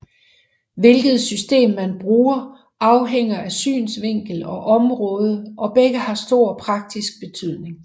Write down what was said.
Hvilket system man bruger afhænger af synsvinkel og område og begge har stor praktisk betydning